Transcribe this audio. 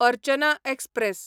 Archana express